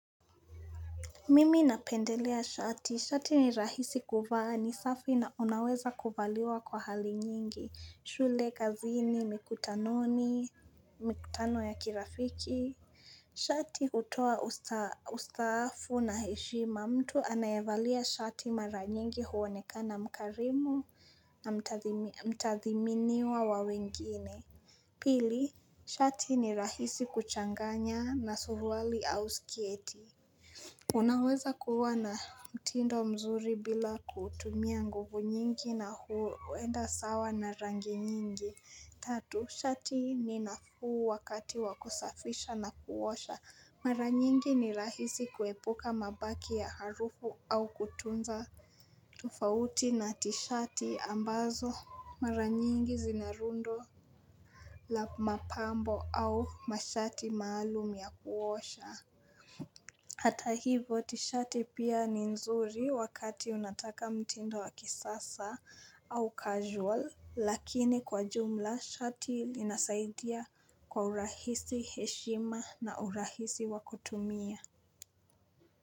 Mimi napendelea shati, shati ni rahisi kuvaa ni safi na unaweza kuvaliwa kwa hali nyingi, shule, kazini, mikutanoni, mikutano ya kirafiki shati kutoa ustaafu na heshima, mtu anayevalia shati mara nyingi huwonekana mkarimu na mtathiminiwa wawengine Pili, shati ni rahisi kuchanganya na surwali au sketi Unaweza kuwa na mtindo mzuri bila kutumia nguvu nyingi na huwenda sawa na rangi nyingi Tatu, shati ni nafuu wakati wakusafisha na kuwosha Mara nyingi ni rahisi kuepuka mabaki ya harufu au kutunza tofauti na tishati ambazo Mara nyingi zinarundo la mapambo au mashati maalum ya kuwosha Hata hivo tishati pia ni nzuri wakati unataka mtindo wa kisasa au casual lakini kwa jumla shati linasaidia kwa urahisi heshima na urahisi wakutumia.